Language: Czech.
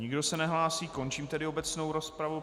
Nikdo se nehlásí, končím tedy obecnou rozpravu.